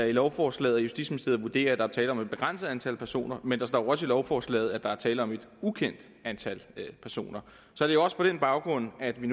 i lovforslaget at justitsministeriet vurderer at der er tale om et begrænset antal personer men der står jo også i lovforslaget at der er tale om et ukendt antal personer så det er også på den baggrund at vi